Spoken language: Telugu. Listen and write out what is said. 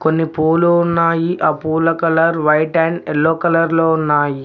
కొన్ని పూలు ఉన్నాయి ఆ పూల colour white and yellow colour లో ఉన్నాయి.